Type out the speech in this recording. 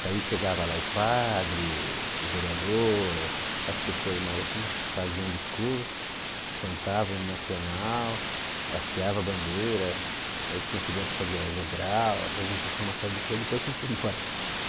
Daí chegava lá o padre, o o vereador, as pessoas mais assim faziam discurso, cantavam o hino nacional, hasteava a bandeira, daí tinha criança que fazia, apresentação, uma série de coisas, depois a gente ia embora.